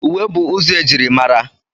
Uwe bụ ụzọ e jiri mara.